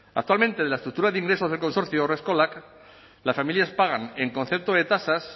actualmente en la estructura de ingresos del consorcio haurreskolak las familias pagan en concepto de tasas